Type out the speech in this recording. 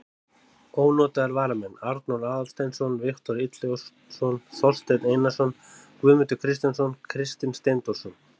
Ónotaðir varamenn: Arnór Aðalsteinsson, Viktor Illugason, Þorsteinn Einarsson, Guðmundur Kristjánsson, Kristinn Steindórsson.